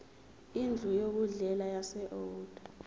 indlu yokudlela yaseold